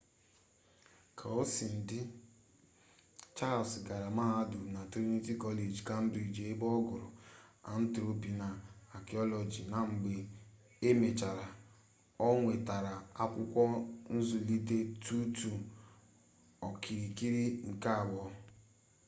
kaosinadị charles gara mahadum na trinity college cambridge ebe ọ gụrụ anthropology na archaeology na mgbe e mechara ọ nwetara akwụkwọ nzụlite 2: 2 okirikiri nke abụọ